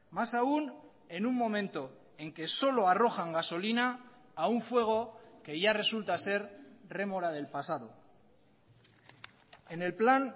más aún en un momento en que solo arrojan gasolina a un fuego que ya resulta ser rémora del pasado en el plan